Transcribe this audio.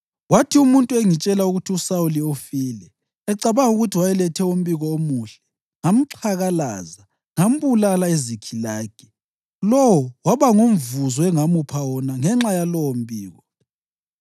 kwathi umuntu engitshela ukuthi, ‘USawuli usefile,’ ecabanga ukuthi wayeletha umbiko omuhle ngamxhakalaza ngambulala eZikhilagi. Lowo waba ngumvuzo engamupha wona ngenxa yalowombiko!